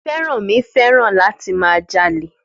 Fẹ́rànmi fẹ́ràn láti máa jalè.